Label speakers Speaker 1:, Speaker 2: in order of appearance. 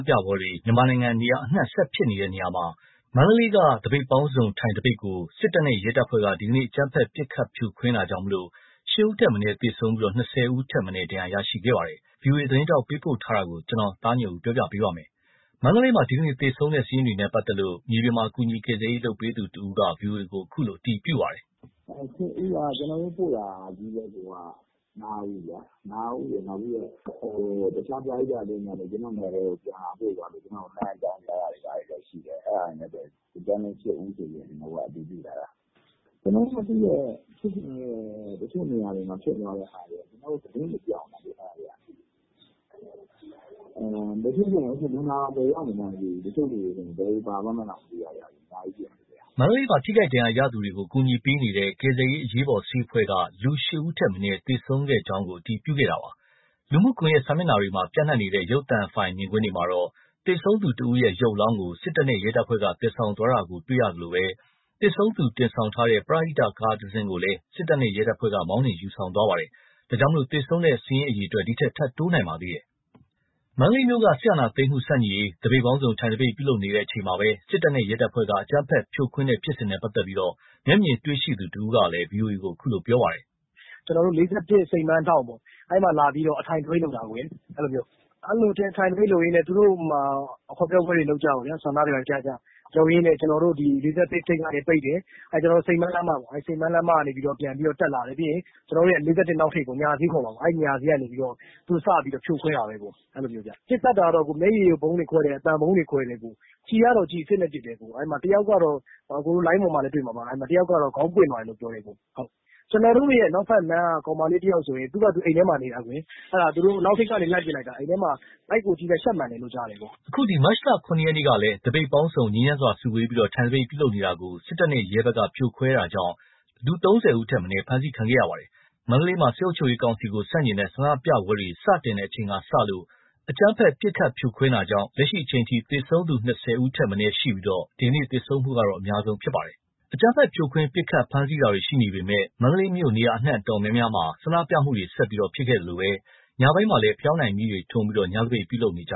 Speaker 1: ပြပွဲတွေ မြန်မာနိုင်ငံအနှံ့ ဆက်ဖြစ်ပွားနေရာမှာ မန္တလေးမှာ သပိတ်ပေါင်းစုံ ထိုင်သပိတ်ကို စစ်တပ်နဲ့ ရဲတပ်ဖွဲ့က ဒီကနေ့ အကြမ်းဖက် ပစ်ခတ်ဖြိုခွဲခဲ့တာကြောင့် ၈ ဦးထက်မနည်း သေဆုံးပြီး ၂၀ ဦးထက်မနည်း ဒဏ်ရာရရှိခဲ့ပါတယ်။ ဗွီအိုအေသတင်းထောက် ပေးပို့ထားတာကို ကိုသားညွန့်ဦး ပြောပြပါမယ်။ မန္တလေးမှာ ဒီကနေ့ သေဆုံးတဲ့ စာရင်းတွေနဲ့ ပတ်သက်လို့ မြေပြင်မှာ ကူညီကယ်ဆယ်ရေး လုပ်ပေးသူတဦးက ဗွီအိုအေကို အခုလို အတည်ပြုပါတယ်
Speaker 2: ။ “၈ ဦးက ကျေနာ်တို့ပို့တာချည်းပဲ ၅ ဦး။ တခြား ပရဟိတအသင်းတွေကလည်း ပို့တာ အကြောင်းကြားတာတွေ ရှိတယ်။ ဒီအတိုင်း ၈ ဦးဆိုပြီး အတည်ပြုထားတာ။ ကျနော်တို့မသိတဲ့ ဖြစ်စဉ်တွေ တချို့နေရာတွေမှာ ဖြစ်သွားတဲ့ဟာတွေက သတင်းတွေ ပျောက်နေတယ်လေ။ အဲ့ဟာတွေက လူနာတောင် ဘယ်တွေရောက်နေမှန်း မသိဘူး။ တချို့ဆို ဘယ်တွေပါသွားမှန်းတောင် မသိဘူး။” မန္တလေးမှာ ထိ
Speaker 1: ခိုက်ဒဏ်ရာရသူတွေကို ကူညီပေးနေတဲ့ ကယ်ဆယ်ရေး အရေးပေါ်ဆေးအဖွဲ့က လူ ၈ ဦးထက်မနည်း သေဆုံးခဲ့ကြောင်းကို အတည်ပြုခဲ့တာပါ။ လူမှုကွန်ရက် စာမျက်နှာတွေမှာ ပျံ့နှံ့နေတဲ့ ရုပ်သံဖိုင်မြင်ကွင်းမှာတော့ သေဆုံးသူတဦးရဲ့ ရုပ်အလောင်းကို စစ်တပ်နဲ့ ရဲတပ်ဖွဲ့က သယ်ဆောင်သွားတာကိုလည်း တွေ့ရသလို သေဆုံးသူ တင်ဆောင်ထားတဲ့ ပရဟိတ ကားတစီးကိုလည်း စစ်တပ်နဲ့ ရဲတပ်ဖွဲ့က မောင်းနှင်ယူဆောင်သွားပါသေးတယ်။ ဒါကြောင့် သေဆုံးသူစာရင်းတွေ ထပ်တိုးနိုင်ပါသေးတယ်။ မန္တလေးမြို့က စစ်အာဏာသိမ်းမှု ဆန့်ကျင်ရေး သပိတ်ပေါင်းစုံ ထိုင်သပိတ် ပြုလုပ်နေချိန်မှာ စစ်တပ်နဲ့ ရဲတပ်ဖွဲ့က အကြမ်းဖက်ဖြိုခွင်းတဲ့ ဖြစ်စဉ်နဲ့ ပတ်သက်လို့ မျက်မြင်တွေ့ရှိသူတဦးကလည်း ဗွီအိုအေကို အခုလိုပြောပါတယ်
Speaker 3: ။ “၄၁ စိန်ပန်းလမ်းထောင့် အဲ့မှာ အထိုင်သပိတ်လုပ်တာ။ အဲ့မှာ ထိုင်သပိတ်လုပ်ရင်း ဟောပြောပွဲတွေလုပ်ကြ၊ ဆန္ဒတွေပြကြတော့ ကျနော်တို့ ၄၁ ထိပ်ကနေ ပိတ်တယ်။ စိန်ပန်းလမ်းမကနေ တက်လာတယ်။ ၄၁ အနောက်ထိပ် ညဈေးခေါ်မှာပေါ့ အဲ့ကနေစပြီးတော့ သူတို့ဖြိုခွဲတာပေါ့။ ပစ်ခတ်တာကတော့ မျက်ရည်ယိုဗုံးတွေ ခွဲတယ်၊ အသံဗုံးတွေ ခွဲတယ်၊ ကျည်အစစ်တွေနဲ့ ပစ်တယ်။ အဲ့မှာ တယောက်က လိုင်းပေါ်မှာလည်း တွေ့မှာပါ ခေါင်းပွင့်သွားတယ်ပြောတယ်။ ကျနော်တို့ အနောက်ဘက်လမ်းက ကောင်မလေးတယောက်ဆိုရင် အိမ်ထဲမှာပဲ နေတာ။ အနောက်ထိပ်ကနေ လှမ်းပစ်လိုက်တာ ဗိုက်ကို ရှပ်မှန်တယ်လို့ ကြားတယ်။
Speaker 1: ” အခု မတ်လ ၇ ရက်နေ့ကလည်း သပိတ်ပေါင်းစုံ ငြိမ်းချမ်းစွာ စုဝေးပြီး ထိုင်သပိတ် ပြုလုပ်နေတာကို စစ်တပ်နဲ့ ရဲတပ်ဖွဲ့က ဖြိုခွင်းခဲ့တာကြောင့် လူ ၃၀ ဦးထက်မနည်း ဖမ်းဆီးခံခဲ့ရပါတယ်။ မန္တလေးမှာ စစ်အုပ်ချုပ်ရေးကောင်စီကို ဆန့်ကျင်တဲ့ ဆန္ဒပြပွဲတွေ စတင်တဲ့ အချိန်ကစလို့ အကြမ်းဖက် ပစ်ခတ်ဖြိုခွင်းတာကြောင့် လက်ရှိအချိန်ထိ သေဆုံးသူ ၂၀ ဦးထက်မနည်းရှိပြီး ဒီကနေ့ သေဆုံးတာကတော့ အများဆုံးသေဆုံးတာ ဖြစ်ပါတယ်။ အကြမ်းဖက် ဖြိုခွင်းပစ်ခတ် ဖမ်းဆီးတာတွေ ရှိနေပေမယ့် မြို့အနှံ့ နေရာတော်တော်များများမှာ ဆန္ဒပြမှုတွေ ဆက်ရှိခဲ့သလို ညဘက်မှလည်း ဖယောင်းတိုင်မီးတွေ ထွန်းပြီး ညသပိတ် ပြုလုပ်နေကြ